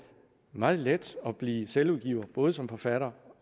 meget let at blive selvudgiver både som forfatter